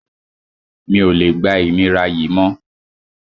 Mi ò lè gba ìnira yìí mọ́